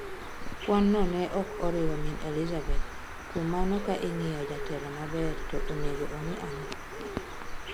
Kwanno ne okoriwo min Elizabeth kuom mane ka in'giyo jatelo maber to onego ong'i ang'o.